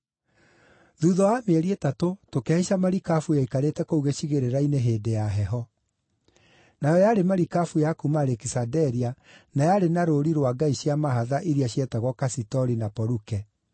Thuutha wa mĩeri ĩtatũ tũkĩhaica marikabu yaikarĩte kũu gĩcigĩrĩra-inĩ hĩndĩ ya heho. Nayo yarĩ marikabu ya kuuma Alekisanderia na yarĩ na rũũri rwa ngai cia mahatha iria cietagwo Kasitori na Poluke.